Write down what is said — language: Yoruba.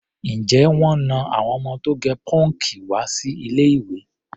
Ǹjẹ́ wọ́n na àwọn ọmọ tó gẹ pọ́ǹkì wá sí ilé-ìwé?